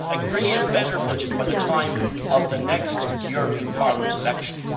That is, agree a better budget by the time of the next European Parliament elections.